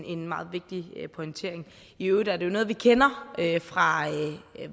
en meget vigtig pointering i øvrigt er det noget vi kender fra